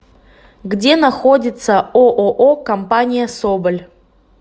где находится ооо компания соболь